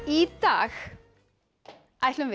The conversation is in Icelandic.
í dag ætlum við